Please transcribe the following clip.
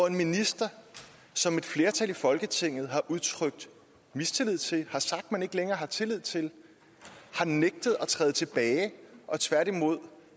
en minister som et flertal i folketinget har udtrykt mistillid til har sagt man ikke længere har tillid til har nægtet at træde tilbage og tværtimod er